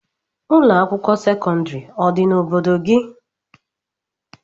Ụlọakwụkwọ sekọndịrị ọ dị n'obodo gị?